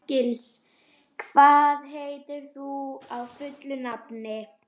Árgils, hvað heitir þú fullu nafni?